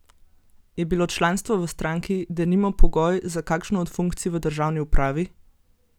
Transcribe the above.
Je bilo članstvo v stranki denimo pogoj za kakšno od funkcij v državni upravi?